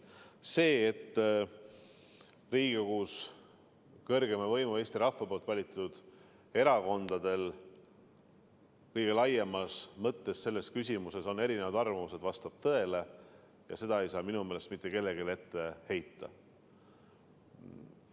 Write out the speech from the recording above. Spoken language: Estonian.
See, et Riigikogus kõrgeima võimu, Eesti rahva poolt valitud erakondadel kõige laiemas mõttes on selles küsimuses erinevad arvamused, vastab tõele, ja seda ei saa minu meelest mitte kellelegi ette heita.